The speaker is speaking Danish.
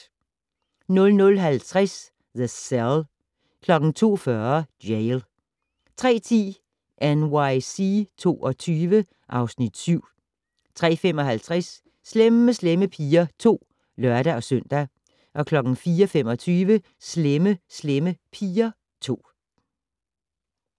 00:50: The Cell 02:40: Jail 03:10: NYC 22 (Afs. 7) 03:55: Slemme Slemme Piger 2 (lør-søn) 04:25: Slemme Slemme Piger 2